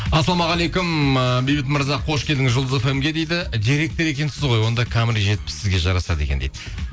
ассалаумағалейкум ыыы бейбіт мырза қош келдіңіз жұлдыз фм ге дейді директор екенсіз ғой онда камри жетпіс сізге жарасады екен дейді